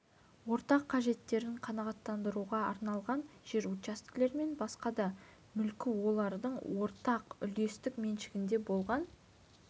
ортақ қажеттерін қанағаттандыруға арналған жер учаскелер мен басқа да мүлкі олардың ортақ үлестік меншігінде болған